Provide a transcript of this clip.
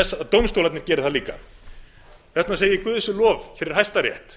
þess að dómstólarnir geri það líka við ættum að segja guði sé lof fyrir hæstarétt